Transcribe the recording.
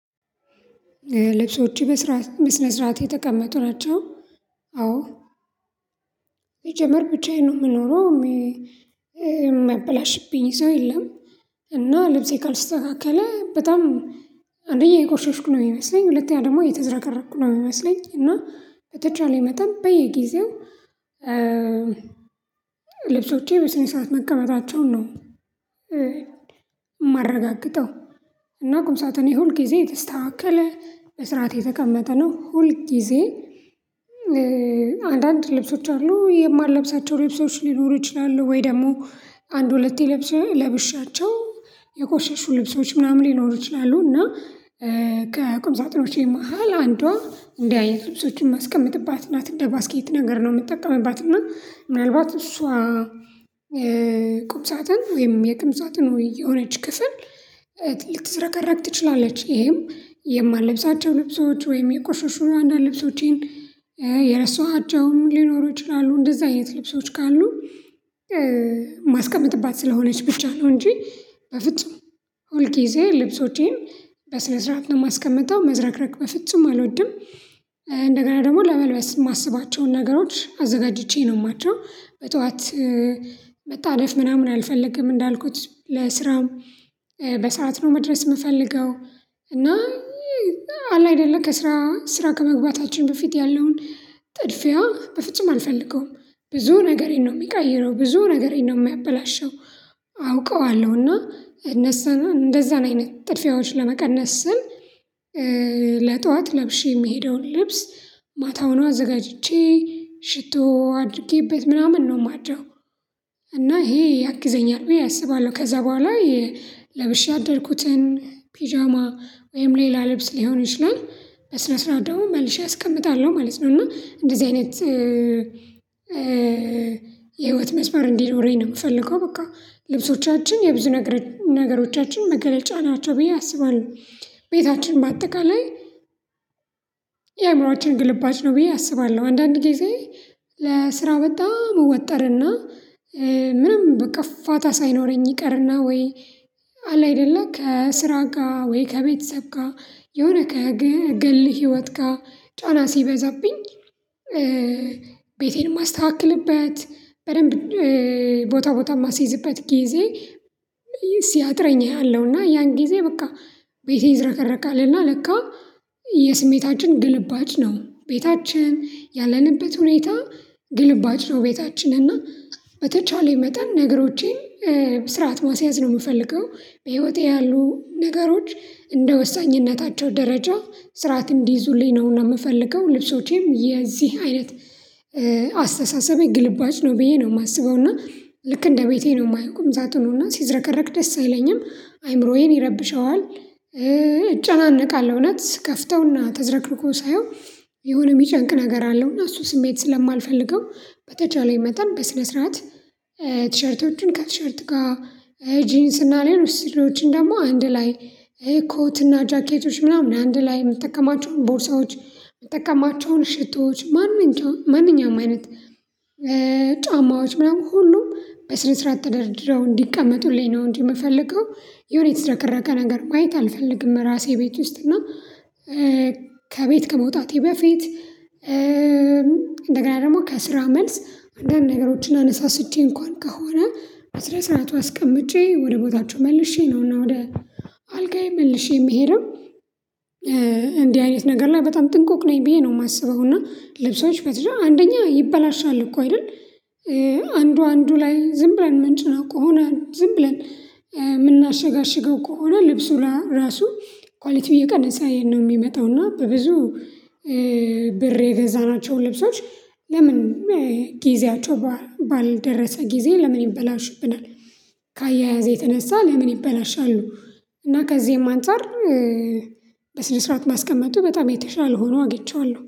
ልብሶችህ በስርዓት በስነስርዓት የተቀመጡ ናቸው። አዎ ሲጀመር ብቻዬን ነው የምኖረው። የሚያበላሽብኝ ሰው የለም። እና ልብሴ ካልስተካከለ በጣም አንደኛ የቆሸሽኩ ነው የሚመስለኝ ሁለተኛ ደግሞ የተዘረቀረቅኩ ነው የሚመስለኝ። እና በተቻለ መጠን በየጊዜው ልብሶቼ በስነ ስርዓት መቀመጣቸውን ነው የማረጋግጠው። እና ቁምሳተኔ ሁል ጊዜ የተስተካከለ በስራት የተቀመጠ ነው ሁል ጊዜ። አንዳንድ ልብሶች አሉ የማልለብሳቸው ልብሶች ሊኖሩ ይችላሉ ወይ ደግሞ አንድ ሁለቴ ለብሻቸው የቆሸሹ ልብሶች ምናምን ሊኖሩ ይችላሉ። እና ከቅምሳጥኖቼ መሃል አንዷ እንዲህ አይነት ልብሶችን ማስቀመጥ ናት እንደ ባስኬት ነገር ነው የምትጠቀምባት እና ምናልባት እሷ ቁም ሳጥን ወይም የቅም ሳጥን የሆነች ክፍል ልትዘከረክ ትችላለች። ይሄም የማልለብሳቸው ልብሶች ወይም የቆሸሹ አንዳንድ ልብሶቼን የረሱአቸውም ሊኖሩ ይችላሉ። እንደዛ አይነት ልብሶች ካሉ ማስቀመጥባት ስለሆነች ብቻ ነው እንጂ በፍጹም ሁልጊዜ ልብሶቼን በስነ ስርዓት ነው የማስቀምጠው መዝረክረክ በፍጹም አልወድም። እንደገና ደግሞ ለመልበስ የማስባቸውን ነገሮች አዘጋጅቼ ነው ማድረው በጧት መጣደፍ ምናምን አልፈልግም እንዳልኩት ለስራም በሰአት ነው መድረስ የምፈልገው። እና አለ አይደለ ከስራ ስራ ከመግባታችን በፊት ያለውን ጥድፊያ በፍጹም አልፈልገውም። ብዙ ነገሬን ነው የሚቀይረው ብዙ ነገሬን ነው የሚያበላሸው። አውቀዋለሁና እነሱና እንደዛን አይነት ጥድፊያዎች ለመቀነስ ስል ለጠዋት ለብሼ የሚሄደውን ልብስ ማታውን አዘጋጅቼ ሽቶ አድርጌበት ምናምን ነው ማደረው። እና ይሄ ያግዘኛል ቢየ አስባለሁ ከዛ በኋላ ለብሼ አደርኩትን ፒጃማ ወይም ሌላ ልብስ ሊሆን ይችላል በስነ ስርዓት ደግሞ መልሼ አስቀምጣለሁ ማለት ነው። እና እንደዚህ አይነት የህይወት መስመር እንዲኖረኝ ነው የምፈልገው በቃ ልብሶቻችን የብዙ ነገሮቻችን መገለጫ ናቸው ብዬ አስባለሁ ቤታችን በአጠቃላይ የአእምሮአችን ግልባጭ ነው ብዬ አስባለሁ። አንዳንድ ጊዜ ለስራ በጣም እወጠርና ምንም በቃ ፋታ ሳይኖረኝ ይቀርና ወይ አለ አይደለ ከስራ ጋር ወይ ከቤተሰብ ጋር የሆነ ከግል ህይወት ጋር ጫና ሲበዛብኝ ቤቴን ማስተካከልበት በደንብ ቦታ ቦታ የማስይዝበት ጊዜ ሲያጥረኝ እያለሁና ያን ጊዜ በቃ ቤቴ ይዘረከረካልና ለካ የስሜታችን ግልባጭ ነው ቤታችን ያለንበት ሁኔታ ግልባጭ ነው። ቤታችን እና በተቻለኝ መጠን ነገሮቼን በስርዓት ማስያዝ ነው የምፈልገው በህይወቴ ያሉ ነገሮች እንደ ወሳኝነታቸው ደረጃ ስርዓት እንዲይዙልኝ ነው የምፈልገው። ልብሶቼም የዚህ አይነት አስተሳሰብ ግልባጭ ነው ብዬ ነው የማስበው እና ልክ እንደ ቤቴ ነው የማየው ቁምሳጡኑና ሲዝረከረክ ደስ አይለኝም አይምሮዬን ይረብሸዋል። እጨናነቃለሁ እውነት ስከፍተውና ተዘረክርኮ ሳየው የሆነ የሚጨንቅ ነገር አለው እና እሱ ስሜት ስለማልፈልገው በተቻለኝ መጠን በስነ ስርዓት ቲሸርቶቹን ከቲሸርት ጋር ጂንስ እና ላይ ነው ስሪዎችን ደግሞ አንድ ላይ ኮት እና ጃኬቶች ምናምን አንድ ላይ የምትጠቀማቸውን ቦርሳዎች የምትጠቀማቸውን ሽቶዎች ማንኛውም አይነት ጫማዎች ምናምን ሁሉም በስነ ስርዓት ተደርድረው እንዲቀመጡልኝ ነው እንዲምፈልገው የሆነ የተዝረከረከ ነገር ማየት አልፈልግም። እራሴ ቤት ውስጥ እና ከቤት ከመውጣቴ በፊት እንደገና ደግሞ ከስራ መልስ አንዳንድ ነገሮችን አነሳስቼ እንኳን ከሆነ በስራ ስርዓቱ አስቀምጬ ወደ ቦታችሁ መልሼ ነው እና ወደ አልጋዬ መልሼ የምሄደው። እንዲህ አይነት ነገር ላይ በጣም ጥንቆቅ ነኝ ብዬ ነው የማስበው እና ልብሶች በትዳር አንደኛ ይበላሻል እኮ አይደል? አንዱ አንዱ ላይ ዝም ብለን ምንጭ ነው እኮ ሆና ዝም ብለን የምናሸጋሽገው ከሆነ ልብሱ ራሱ ኳሊቲው እየቀሰ ነው የሚመጣው እና በብዙ ብር የገዛናቸው ልብሶች። ለምን ጊዜያቸው ባልደረሰ ጊዜ ለምን ይበላሽብናል? የተነሳ ለምን ይበላሻሉ? እና ከዚህም አንፃር በስነ ስርዓት ማስቀመጡ በጣም የተሻለ ሆኖ አግቼዋለሁ